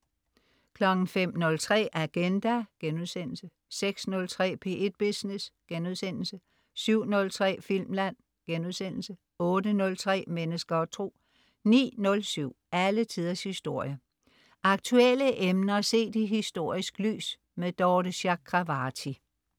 05.03 Agenda* 06.03 P1 Business* 07.03 Filmland* 08.03 Mennesker og Tro 09.07 Alle Tiders Historie. Aktuelle emner set i historisk lys. Dorthe Chakravarty